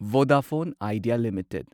Vodafone Idea limited